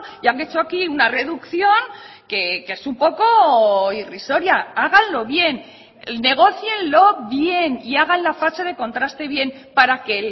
y han hecho aquí una reducción que es un poco irrisoria háganlo bien negócienlo bien y hagan la fase de contraste bien para que